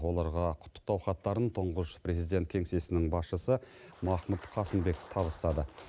оларға құттықтау хаттарын тұңғыш президент кеңсесінің басшысы махмұд қасымбек табыстады